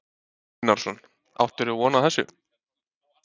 Hafþór Gunnarsson: Áttirðu von á þessu?